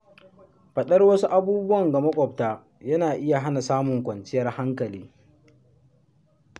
Faɗar wasu abubuwan ga maƙwabta, yana iya hana samun kwanciyar hankali.